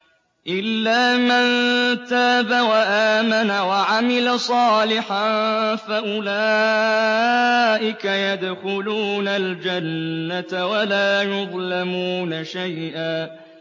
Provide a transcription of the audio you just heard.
إِلَّا مَن تَابَ وَآمَنَ وَعَمِلَ صَالِحًا فَأُولَٰئِكَ يَدْخُلُونَ الْجَنَّةَ وَلَا يُظْلَمُونَ شَيْئًا